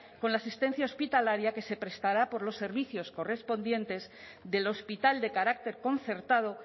con la asistencia hospitalaria que se prestaba por los servicios correspondientes del hospital de carácter concertado